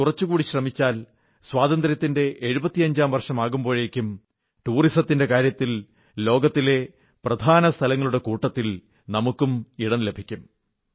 നാം കുറച്ചുകൂടി ശ്രമിച്ചാൽ സ്വാതന്ത്ര്യത്തിന്റെ 75ാം വർഷം ആകുമ്പോഴേക്കും ടൂറിസത്തിന്റെ കാര്യത്തിൽ ലോകത്തെ പ്രധാനസ്ഥലങ്ങളുടെ കൂട്ടത്തിൽ നമുക്കും ഇടം ലഭിക്കും